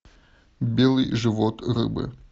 белый живот рыбы